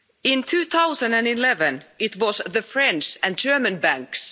In 2011, it was the French and German banks.